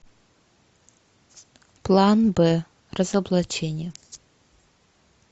план б разоблачение